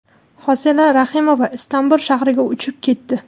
Hosila Rahimova Istanbul shahriga uchib ketdi.